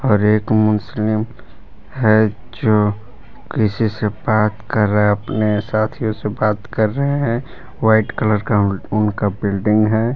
और एक मुस्लिम है जो किसी से बात कर रहा अपने साथियों से बात कर रहे हैं। व्हाइट कलर का उनका बिल्डिंग है।